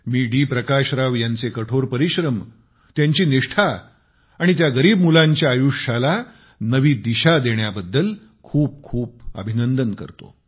मी D Prakash Rao यांचे कठोर परिश्रम त्यांची निष्ठा आणि त्या गरीब मुलांच्या आयुष्याला नवी दिशा देण्याबद्दल खूप खूप अभिनंदन करतो